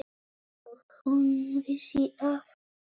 Og hún vissi af honum.